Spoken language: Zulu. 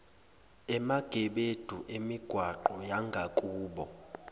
emagebedu emigwaqo yangakubo